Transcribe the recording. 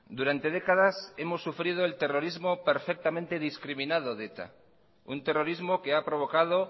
durante décadas hemos sufrido el terrorismo perfectamente discriminado de eta un terrorismo que ha provocado